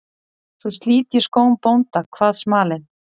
Svo slit ég skóm bónda, kvað smalinn.